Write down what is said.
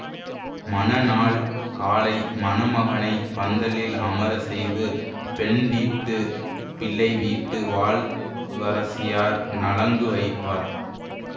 மணநாள் காலை மணமகனைப் பந்தலில் அமர செய்து பெண் வீட்டு பிள்ளை வீட்டு வாழ் வரசியார் நலங்கு வைப்பார்